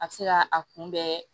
A bɛ se ka a kunbɛn